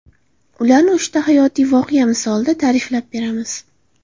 Ularni uchta hayotiy voqea misolida ta’riflab beramiz.